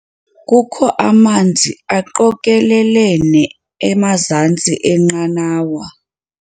Kukho amanzi aqokelelene emazantsi enqanawa.